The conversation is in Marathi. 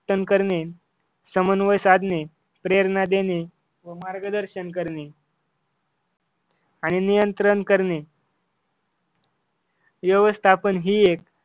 टन करणे समन्वय साधणे, प्रेरणा देणे, मार्गदर्शन करणे आणि नियंत्रण करणे व्यवस्थापन ही एक